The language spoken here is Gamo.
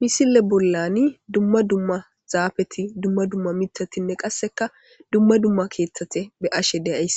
Misile bollani dumma dumma zaafeti dumma dumma mitatinne qasseka dumma dumma keeththati be'ashe deyays